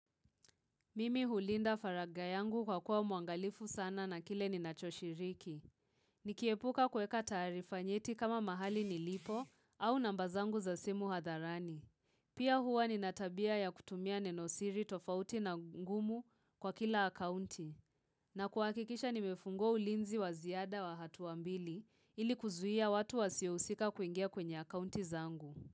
Mimi hulinda faragha yangu kwa kuwa muangalifu sana na kile ni nachoshiriki. Nikiepuka kuweka taarifa nyeti kama mahali nilipo au namba zangu za simu hadharani. Pia huwa nina tabia ya kutumia nenosiri tofauti na ngumu kwa kila akaunti. Na kuhakikisha nimefungua ulinzi wa ziada wa hatua mbili ili kuzuia watu wasiyohusika kuingia kwenye akaunti zangu.